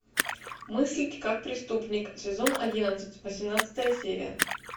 мыслить как преступник сезон одиннадцать восемнадцатая серия